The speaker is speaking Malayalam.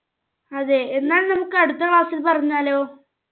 അതെ എന്നാൽ നമ്മുക്ക് അടുത്ത class ൽ പറഞ്ഞാലോ?